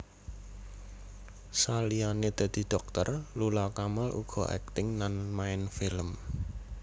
Saliyané dadi dhokter Lula Kamal uga akting lan main film